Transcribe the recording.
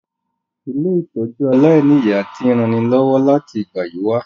Ilé-ìtójú aláìniya ti n ranilọ́wọ́ láti ìgbà yi wa